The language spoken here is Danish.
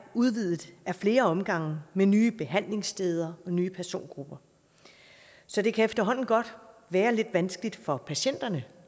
udvidet ad flere omgange med nye behandlingssteder og nye persongrupper så det kan efterhånden godt være lidt vanskeligt for patienterne